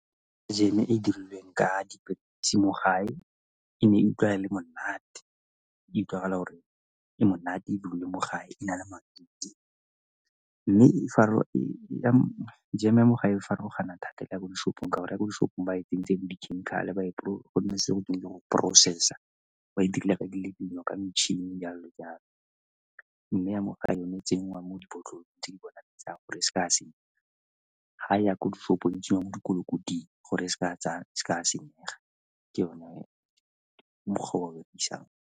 Jam-e e e dirilweng ka diperekise mo gae e ne e utlwala le monate, e utlwagala gore e monate dirilwe mo gae e na le matute. Mme jam-e mo gae e farologana thata le ya ko di-shop-ong ka gore ya ko di-shop-ong ba e tsentse le dikhemikhale e leng go e process-a, ba e dirile ka dilo-dilo, ka metšhini jalo le jalo. Mme ya mo gae yone e tsenngwa mo dibotlolo di tsa go dira gore e seka ya senyega ga e ya ko di-shop-ong tseo ko ko di gore e seka ya senyega. Ke yona, ke mokgwa o ba o berekisang.